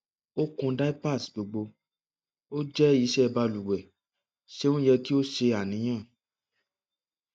o kun diapers gbogbo o jẹ iṣẹ baluwe ṣeun yẹ ki o ṣe aniyan